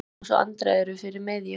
Nikulás og Alexandra eru fyrir miðju.